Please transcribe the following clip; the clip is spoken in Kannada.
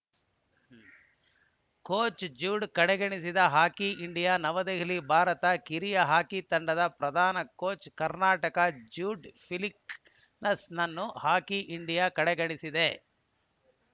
ಕೋಚ್‌ ಜೂಡ್‌ ಕಡೆಗಣಿಸಿದ ಹಾಕಿ ಇಂಡಿಯಾ ನವದೆಹಲಿ ಭಾರತ ಕಿರಿಯರ ಹಾಕಿ ತಂಡದ ಪ್ರಧಾನ ಕೋಚ್‌ ಕರ್ನಾಟಕದ ಜೂಡ್‌ ಫೆಲಿಕ್ಸ್‌ರನ್ನು ಹಾಕಿ ಇಂಡಿಯಾ ಕಡೆಗಣಿಸಿದೆ